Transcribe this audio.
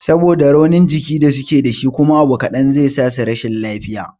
Saboda raunin jiki da suke dashi kuma abu kaɗan zai sasu rashin lafiya